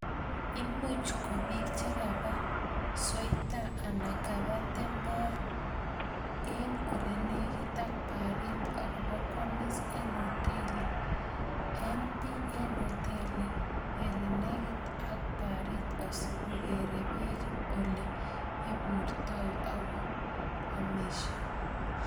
Imuuch ko biik chekaba soita alak kokaba tembeya en olenekit ak bariit ak kobokwomis en otelii en bii en otelii elenekit ak bariit asikokere beek olee iburtoi ak ko amishei.